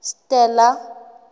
stella